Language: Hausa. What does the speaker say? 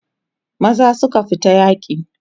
maza suka fita yaki